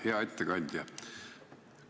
Hea ettekandja!